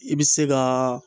I bɛ se kaaa